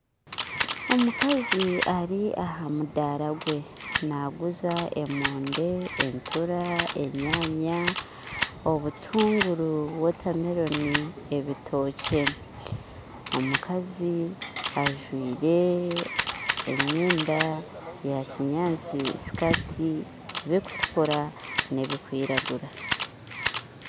Omukazi ari aha mudaara gwe naguza emondi, entuura, enyaanya, obutuunguru, watermelon, ebitookye omukazi ajwire emyenda yakinyaatsi sikati bikutuukura n'ebikwiragura